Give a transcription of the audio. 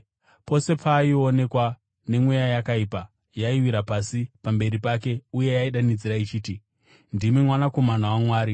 Pose paaionekwa nemweya yakaipa, yaiwira pasi pamberi pake uye yaidanidzira ichiti, “Ndimi Mwanakomana waMwari.”